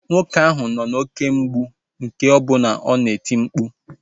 Nwoke ahụ nọ n'oké mgbụ nke bụ na ọ na-eti mkpu